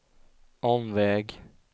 omväg